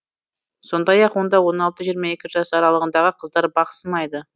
сондай ақ онда он алты жиырма екі жас аралығындағы қыздар бақ сынайды